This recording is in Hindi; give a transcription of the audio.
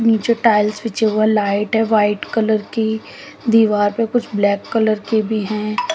नीचे टाइल्स बिछी हुई है लाइट है वाइट कलर की दीवार पे कुछ ब्लैक कलर की भी है।